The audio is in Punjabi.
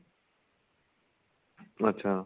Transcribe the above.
ਅੱਛਾ